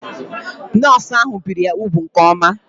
Nọọsụ ahụ biri ya úgwù nke oma